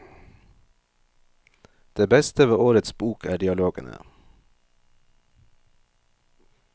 Det beste ved årets bok er dialogene.